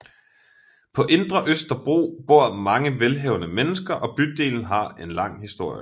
På Indre Østerbro bor mange velhavende mennesker og bydelen har en lang historie